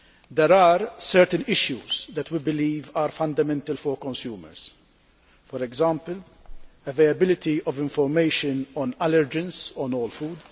There are certain issues that we believe are fundamental for consumers for example, availability of information on allergens on all food